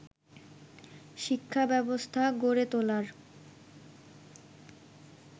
শিক্ষাব্যবস্থা গড়ে তোলার